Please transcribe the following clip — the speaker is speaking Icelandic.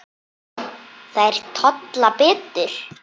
Þær tolla betur.